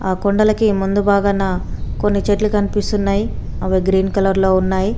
ఆ కొండలకీ మందు బాగాన కొన్ని చెట్లు కనిపిస్తున్నాయి అవి గ్రీన్ కలర్ లో ఉన్నాయి.